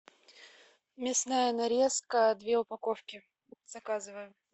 мясная нарезка две упаковки заказываем